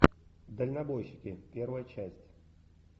дальнобойщики первая часть